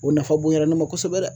O nafa bonyana ne ma kosɛbɛ dɛ